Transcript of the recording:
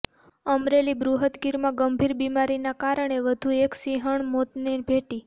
અમરેલી બૃહદગીરમાં ગંભીર બીમારીના કારણે વધુ એક સિંહણ મોતને ભેટી